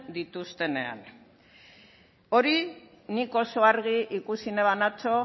dituztenean hori nik oso argi ikusi neban atzo